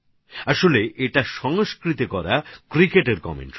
আসলে এটা সংস্কৃতে করা ক্রিকেটের ধারাভাষ্য